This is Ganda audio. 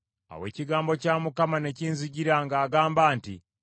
Awo ekigambo kya Mukama ne kinzijira ng’agamba nti,